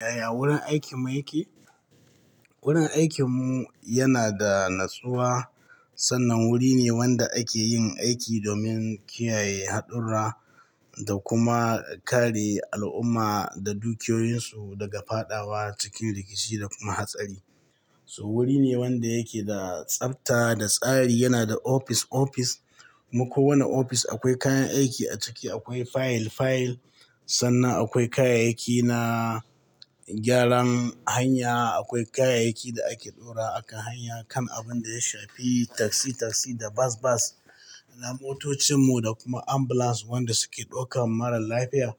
Yaya wurin aikinmu yake? Wurin aikinmu yana da natsuwa, sannan wuri ne wanda ake yin aiki domin kiyaye haɗurra da kuma kare al'umma da dukiyoyinsu daga faɗawa cikin rikici da kuma hatsari. So wuri ne wanda yake da tsabta da tsari. Yana da ofis-ofis. Mako wani ofis akwai kayan aiki a ciki, akwai fayil-fayil. Sannan akwai kayayyaki na gyaran hanya. Akwai kayayyakin da ake ɗora a kan hanya kan abun da ya shafi taksi-taksi da bas-bas. Na motocinmu da kuma ambulance wanda suke ɗaukan marar lafiya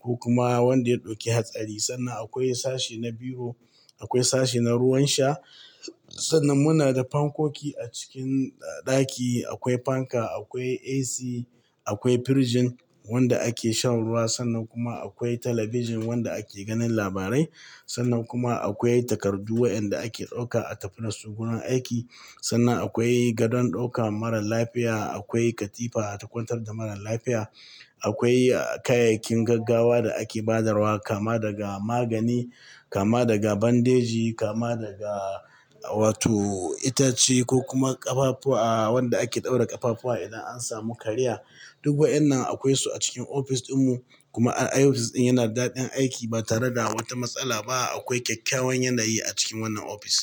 ko kuma wanda ya ɗauki hatsari. Sannan akwai sashe na biyu, akwai sashe na ruwan sha. Sannan muna da fankoki a cikin ɗaki. Akwai fanka, akwai AC, akwai firinji wanda ake shan ruwa. Sannan kuma akwai talabijin wanda ake ganin labarai. Sannan kuma akwai takardu waɗanda ake ɗauka a tafida su gurin aiki. Sannan akwai gadon ɗaukan marar lafiya. Akwai katifa takuntar da marar lafiya. Akwai kayayyakin gaggawa da ake ba darwaa, kama daga magani, kama daga bandage, kama daga wato itace ko kuma ƙafafuwa, wanda ake ɗaura ƙafafuwa idan an samu karaya. Duk waɗannan akwai su a cikin ofis ɗinmu. Kuma ofis ɗin yana da daɗin aiki ba tare da wata matsala ba. Akwai kyakkyawan yanayi a cikin wannan ofis.